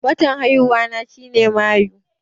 Watan haihuwa na shi ne mayu